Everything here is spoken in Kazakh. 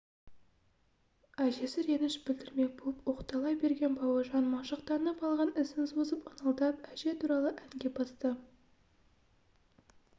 әжесі реніш білдірмек болып оқтала берген бауыржан машықтанып алған ісін созып ыңылдап әже туралы әнге басты